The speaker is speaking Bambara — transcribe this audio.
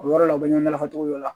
O yɔrɔ la u bɛ ɲɔgɔn lafasogo dɔ la